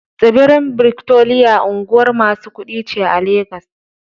Tsibirin Victoria unguwar masu kuɗi ce a 'Legas.